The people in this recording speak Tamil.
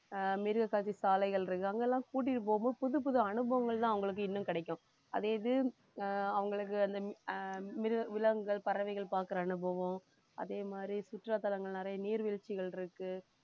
ஆஹ் மிருககாட்சி சாலைகள் இருக்கு அங்கெல்லாம் கூட்டிட்டு போகும்போது புதுப்புது அனுபவங்கள்தான் அவங்களுக்கு இன்னும் கிடைக்கும் அதே இது ஆஹ் அவங்களுக்கு அந்த ஆஹ் மிருக~ விலங்குகள் பறவைகள் பார்க்கிற அனுபவம் அதேமாதிரி சுற்றுலாத்தலங்கள் நிறைய நீர்வீழ்ச்சிகள் இருக்கு